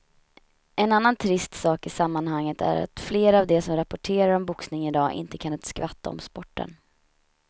En annan trist sak i sammanhanget är att flera av de som rapporterar om boxning i dag inte kan ett skvatt om sporten.